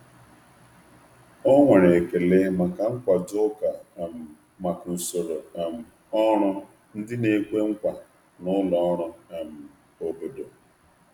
Ọ nwere ekele maka nkwado ụka um maka usoro um ọrụ ndị na-ekwe nkwa na ụlọ ọrụ um obodo.